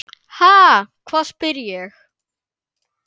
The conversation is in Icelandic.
Ha, hvað? spyr ég.